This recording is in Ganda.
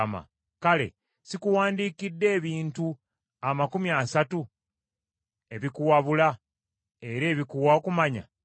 Kale sikuwandiikidde ebintu amakumi asatu ebikuwabula era ebikuwa okumanya?